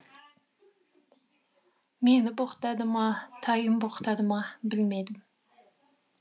мені боқтады ма тайын боқтады ма білмедім